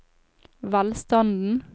velstanden